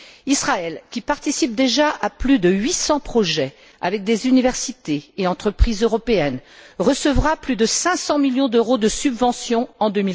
Israël, qui participe déjà à plus de 800 projets avec des universités et entreprises européennes, recevra plus de 500 millions d'euros de subventions en